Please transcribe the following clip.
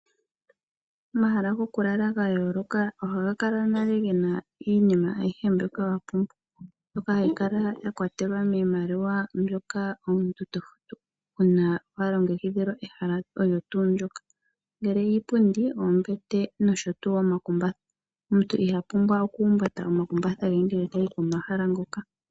Omahala ngokulala ngayoloka oha ngakala nale ngena iinima ayihe mbyoka wapumbwa mbyoka hayi Kala yakwatelwa niimaliwa mbyoka omuntu tofutu una walongekidhilwa ehala olyo tu ndoka ngele iipundi, ombete nosho tu omakumbatha, omuntu ihapumbwa oku humbata omakumbatha ngele tayi komahala ngoka.